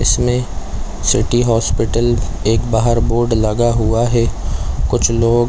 इसमें city hospital एक बाहर बोर्ड लगा हुआ हैं कुछ लोग --